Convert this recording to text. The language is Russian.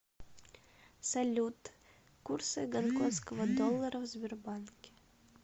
салют курсы гонконгского доллара в сбербанке